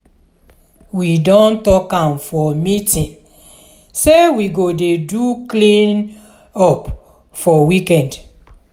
we don tok am for meeting sey we go dey do clean-up for weekend.